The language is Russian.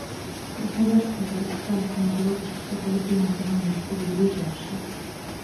красноярская городская стоматологическая поликлиника номер три ближайший